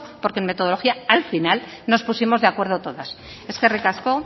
porque en metodología al final nos pusimos de acuerdo todas eskerrik asko